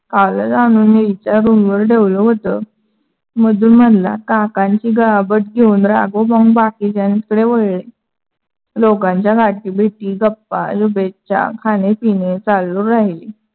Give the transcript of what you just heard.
कालच आणून मी रूम वर ठेवल होतं मधुर म्हणला. काकांची घेऊन राघव पाहून बाकीच्‍यांकडे वळले. लोकांच्या गाठी भेटी, गप्पा, शुभेच्छा खाने-पिणे चालू राहिले.